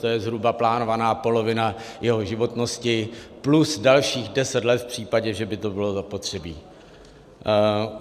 To je zhruba plánovaná polovina jeho životnosti plus dalších 10 let v případě, že by to bylo zapotřebí.